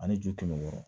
Ani ju kɛmɛ wɔɔrɔ